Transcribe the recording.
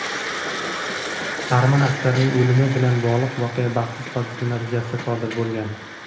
arman askarining o‘limi bilan bog‘liq voqea baxtsiz hodisa natijasida sodir bo‘lgan.